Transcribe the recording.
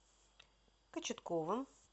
кочетковым